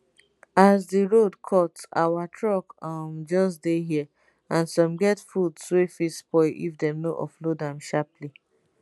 as di road cut our truck um just dey here and some get foods wey fit spoil if dem no offload am sharply